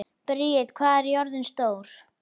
Briet, hvað er jörðin stór?